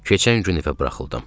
Keçən gün evə buraxıldım.